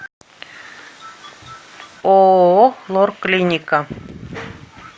ооо лор клиника